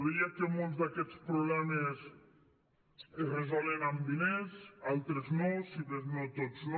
deia que molts d’aquests problemes es resolen amb diners altres no si més no tots no